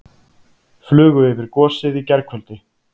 Flugu yfir gosið í gærkvöldi